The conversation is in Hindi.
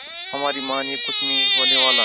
हमारी मानिए कुछ नहीं होने वाला है